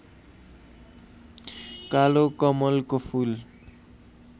कालो कमलको फूल